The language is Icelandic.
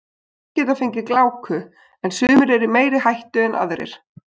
Allir geta fengið gláku en sumir eru í meiri hættu en aðrir.